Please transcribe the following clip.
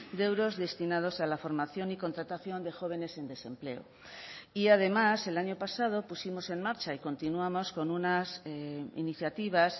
de euros destinados a la formación y contratación de jóvenes en desempleo y además el año pasado pusimos en marcha y continuamos con unas iniciativas